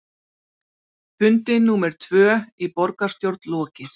Fundi númer tvö í borgarstjórn lokið